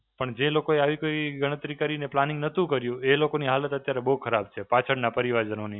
પણ જે લોકોએ આવી કોઈ ગણતરી કરીને planning નહોતું કર્યું, એ લોકોની હાલત અત્યારે બહું ખરાબ છે, પાછળના પરિવારજનોની.